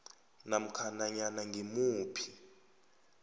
namkha nanyana ngimuphi